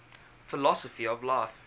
philosophy of life